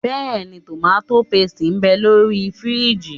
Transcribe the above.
Bẹ́ẹ̀ni, tomato pesìtì n bẹ lótí fìríìjì